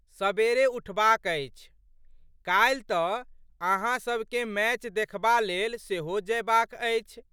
सबेरे उठबाक अछि। काल्हि तऽ अहाँसबके मैच देखबा लेल सेहो जयबाक अछि?